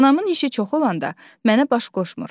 Anamın işi çox olanda mənə baş qoşmur.